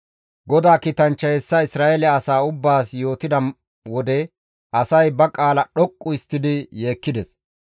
GODAA kiitanchchay hessa Isra7eele asaa ubbaas yootida wode asay ba qaalaa dhoqqu histtidi yeekkides.